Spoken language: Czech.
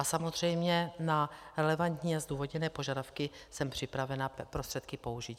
A samozřejmě na relevantní a zdůvodněné požadavky jsem připravena prostředky použít.